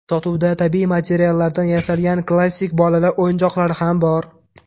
Sotuvda tabiiy materiallardan yasalgan klassik bolalar o‘yinchoqlari ham bor.